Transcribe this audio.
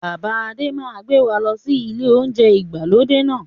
Bàbá Adé máa gbé wá lọ sí ilé oúnjẹ ìgbàlódé náà